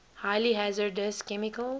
highly hazardous chemicals